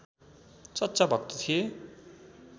सच्चा भक्त थिए